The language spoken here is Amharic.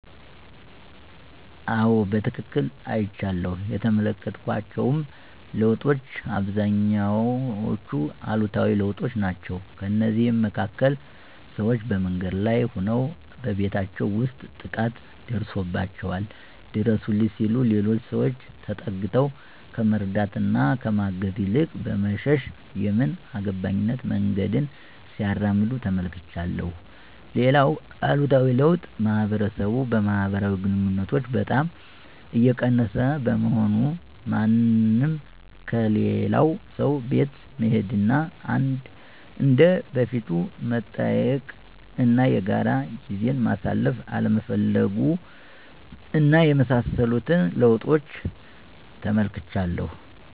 አዎ በትክክል አይቻለሁ። የተመለከትኳቸውም ለውጦች አብዛኞቹ አሉታዊ ለውጦች ናቸው። ከእነዚህም መካከል፦ ሰዎች በመንገድ ላይ ሆነ በቤታቸው ውስጥ ጥቃት ደርሶባቸዋል ድረሱልኝ ሲሉ ሌሎች ሰዎች ተጠግተው ከመርዳት እና ከማገዝ ይልቅ በመሸሽ የምን አገባኝነት መንገድን ሲያራምዱ ተመልክቻለሁ። ሌላውም አሉታዊ ለውጥ ማህበረሰብ ማህበራዊ ግንኙነቶችን በጣም እየቀነሰ በመሆኑ፤ ማንም ከሌላው ሰው ቤት መሄድ እና እንደ በፊቱ መጠያየቅ እና የጋራ ጊዜን ማሳለፍ አለመፈለጉ እና የመሳሰሉትን ለውጦች ተመልክቻለሁ።